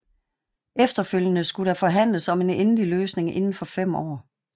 Efterfølgende skulle der forhandles om en endelig løsning inden for fem år